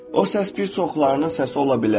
O səs bir çoxlarının səsi ola bilər.